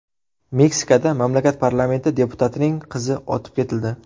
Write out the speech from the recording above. Meksikada mamlakat parlamenti deputatining qizi otib ketildi .